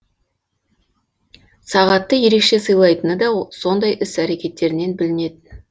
сағатты ерекше сыйлайтыны да сондай іс әрекеттерінен білінетін